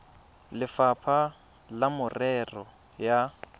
le lefapha la merero ya